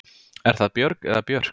Er það Björg eða Björk?